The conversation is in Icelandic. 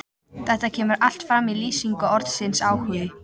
Þetta kemur allt fram í lýsingu orðsins áhugi: